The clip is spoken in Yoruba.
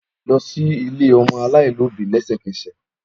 Lọ si ile ọmọ alaialobi lẹsẹkẹsẹ!